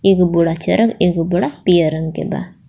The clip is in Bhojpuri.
ए गो बोड़ा एगो बोड़ा पियर रंग के बा.